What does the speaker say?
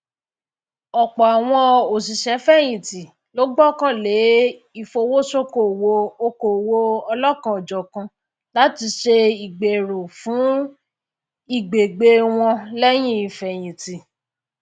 ọpọ àwọn òṣìṣẹfẹyìntì ló gbọkànlé ifowosókòwò okowo ọlọkanòjọkan láti ṣe ìgbéró fún ìgbégbyé wọn lẹyìn ìfẹyìntì